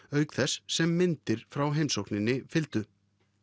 auk þess sem myndir frá heimsókninni fylgdu